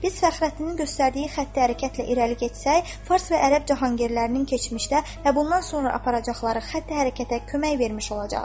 Biz Fəxrəddinin göstərdiyi xəttləri hərəkətə irəli getsək, fars və ərəb cahangirlərinin keçmişdə və bundan sonra aparacaqları xətti hərəkətə kömək vermiş olacağıq.